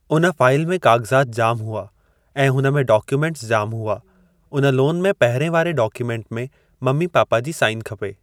उन फ़ाइल में काग़ज़ात जाम हुआ ऐं हुन में डॉक्युमेंटस जाम हुआ। उन लोन में पहिरिएं वारे डोक्युमेंट में मम्मी पापा जी साइन खपे।